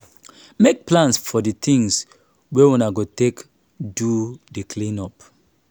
make plans for di things wey una go take do di clean-up